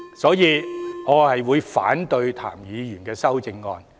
所以，我會反對譚議員的修正案。